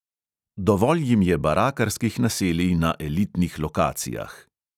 Dovolj jim je barakarskih naselij na elitnih lokacijah.